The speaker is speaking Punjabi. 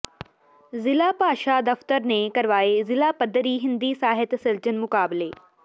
ਜ਼ਿਲ੍ਹਾ ਭਾਸ਼ਾ ਦਫ਼ਤਰ ਨੇ ਕਰਵਾਏ ਜ਼ਿਲ੍ਹਾ ਪੱਧਰੀ ਹਿੰਦੀ ਸਾਹਿਤ ਸਿਰਜਨ ਮੁਕਾਬਲੇ